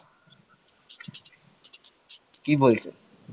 কি বলছে